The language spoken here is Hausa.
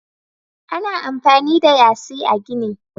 Ana amfani da yasi a gini.